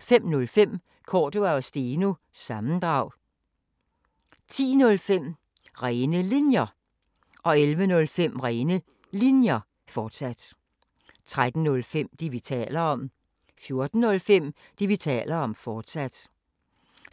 05:05: Cordua & Steno – sammendrag 10:05: Rene Linjer 11:05: Rene Linjer, fortsat 13:05: Det, vi taler om 14:05: Det, vi taler om, fortsat 16:05: